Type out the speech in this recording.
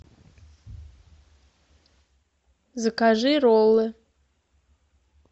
закажи роллы